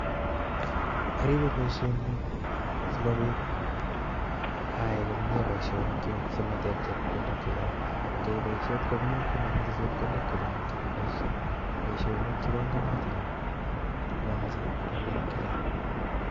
Aribe boishenyu sikobit ayai komie boishoniknyuk si mateb chepkondok che chang. Ngiyai boishet komie komomoche chepkondok chechang chekiboishe, boishonik che bongonotin komomoche rabiinik chechang.